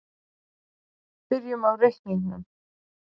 Byrjum á reikningnum.